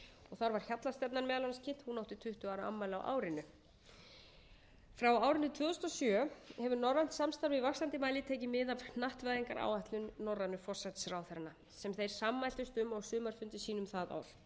þar var hjallastefnan meðal annars kynnt hún átti tuttugu ára afmæli á árinu frá árinu tvö þúsund og sjö hefur norrænt samstarf í vaxandi mæli tekið mið af hnattvæðingaráætlun norrænu forsætisráðherranna sem þeir sammæltust um á sumarfundi sínum það ár